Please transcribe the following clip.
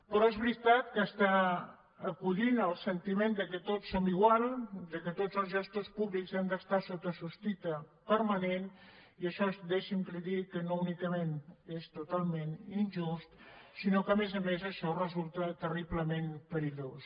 però és veritat que s’està acollint el sentiment que tots som iguals que tots els gestors públics han d’estar sota sospita permanent i això deixi’m que li digui que no únicament és totalment injust sinó que a més a més això resulta terriblement perillós